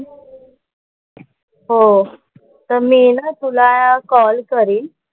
हो. तर मी ना तुला कॉल करीन.